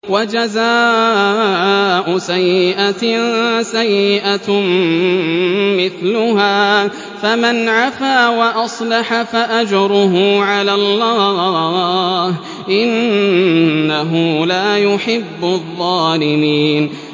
وَجَزَاءُ سَيِّئَةٍ سَيِّئَةٌ مِّثْلُهَا ۖ فَمَنْ عَفَا وَأَصْلَحَ فَأَجْرُهُ عَلَى اللَّهِ ۚ إِنَّهُ لَا يُحِبُّ الظَّالِمِينَ